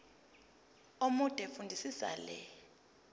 omude fundisisa le